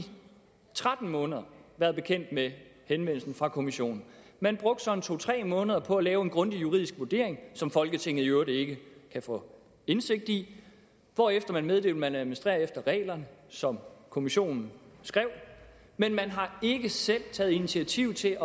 tretten måneder været bekendt med henvendelsen fra kommissionen man brugte så to tre måneder på at lave en grundig juridisk vurdering som folketinget i øvrigt ikke kan få indsigt i hvorefter man meddelte at man administrerer efter reglerne som kommissionen skrev men man har ikke selv taget initiativ til